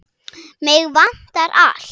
Mig vantar allt.